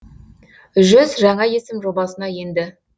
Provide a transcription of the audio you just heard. жүз жаңа есім жобасына енді